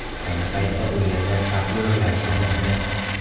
Ayni paytda u yerda sapyorlar ishlamoqda.